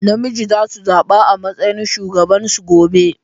Namiji za su zaɓa a matsayin shugaban su gobe.